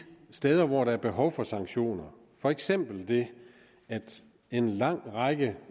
steder hvor der er behov for sanktioner for eksempel det at en lang række